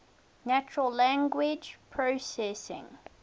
natural language processing